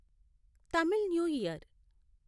Tamil new year